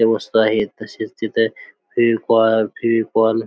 त्या वस्तू आहेत तसेच तिथे फेविकॉल फेविकॉल --